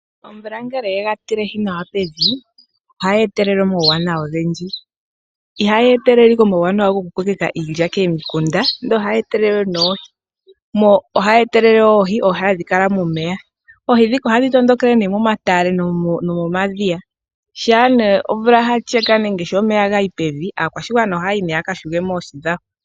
Omvula ngele yega tilehi nawa pevi , ohayi etelele omauwanawa ogendji. Ihayi etelele ashike omauwanawa gokukokeka komikunda, ihe ohayi etelele oohi ndhoka hadhi kala momeya . Oohi ndhika ohadhi tondokele momatale nomomadhiya. Ngele Omvula yasheke aakwashigwana ohayi yi yakayule mo oohi dhawo.